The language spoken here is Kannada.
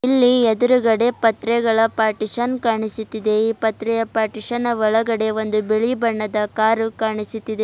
ಇಲ್ಲಿ ಎದ್ರುಗಡೆ ಪತ್ರೆಗಳ ಪಾರ್ಟಿಷಿಯನ್ ಕಾಣಿಸುತ್ತಿದೆ ಈ ಪತ್ರೆಯ ಪಾರ್ಟಿಷಿಯನ್ ಒಳಗಡೆ ಒಂದು ಬಿಳಿ ಬಣ್ಣದ ಕಾರು ಕಾಣಿಸುತ್ತಿದೆ.